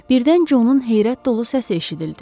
Birdən Co-nun heyrət dolu səsi eşidildi.